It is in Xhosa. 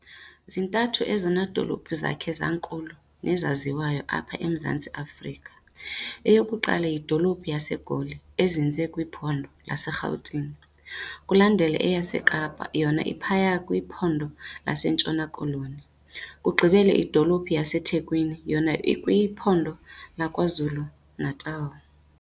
Zintathu ezona dolophu zakhe zankulu nezaziwayo apha eMzantsi Afrika. eyokuqala yidolophu yaseGoli ezinze kwiphondo laseGauteng, kulandele eyaseKapa yona iphaya kwiPhondo laseNtshona-Koloni, kugqibele idolophu yaseThekwini yona ikwiPhondo lakwaZulu-Natal.